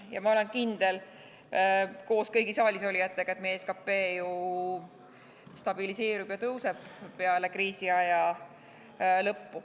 Ja ma olen kindel, koos kõigi saalisolijatega, et peale kriisiaja lõppu meie SKT ju stabiliseerub ja hakkab tõusma.